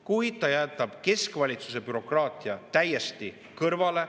Kuid ta jätab keskvalitsuse bürokraatia täiesti kõrvale.